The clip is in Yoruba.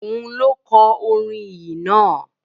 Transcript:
Òun ló kọ orin ìyìn náà?